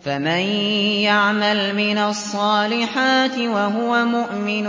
فَمَن يَعْمَلْ مِنَ الصَّالِحَاتِ وَهُوَ مُؤْمِنٌ